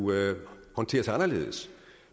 håndteres anderledes